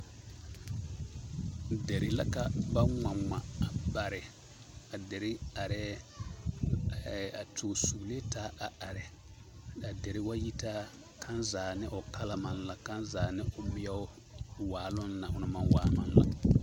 Deri la ba ŋma ŋma a bare a deri arɛɛ ɛɛ a sugsuglee taa a are a deri wa yi taa kaŋ zaa ne o kala maŋ la kaŋ zaa ne o meɛo waaloŋ o naŋ maŋ waa maŋ la.